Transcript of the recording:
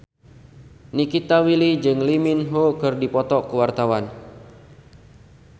Nikita Willy jeung Lee Min Ho keur dipoto ku wartawan